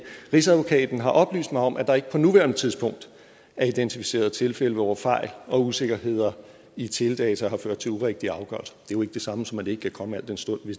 rigsadvokaten har oplyst mig om at der ikke på nuværende tidspunkt er identificeret tilfælde hvor fejl og usikkerheder i teledata har ført til urigtige afgørelser det jo ikke det samme som at det ikke kan komme al den stund